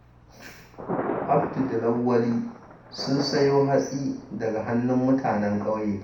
Abdu da Lawwali sun sayo hatsi daga hannun mutanen ƙauye.